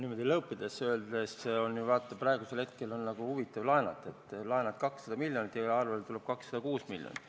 No lõõpides öeldes on ju, vaata, praegusel hetkel huvitav laenata – laenad 200 miljonit ja arvele tuleb 206 miljonit.